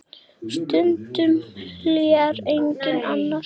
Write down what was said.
Stundum hlær enginn annar.